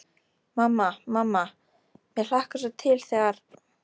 Mamma, mamma mér hlakkar svo til þegar.